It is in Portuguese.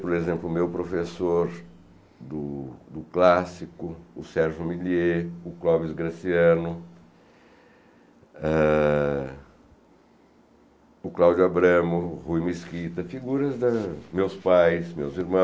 Por exemplo, o meu professor do do clássico, o Sérgio Millier, o Clóvis Graciano, ah o Cláudio Abramo, o Rui Mesquita, figuras dos meus pais, meus irmãos,